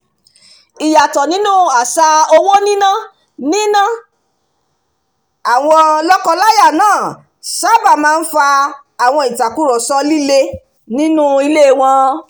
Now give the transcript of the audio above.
ìyàtọ̀ nínú àṣà owó níná níná àwọn lọ́kọ-láya náà sábà máa ń fa àwọn ìtàkurọ̀sọ líle nínú ilé wọn